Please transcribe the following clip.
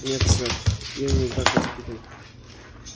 нет сэр я не так воспитан